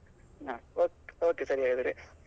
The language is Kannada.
ಹ Okay okay ಸರಿ ಹಾಗಾದ್ರೆ.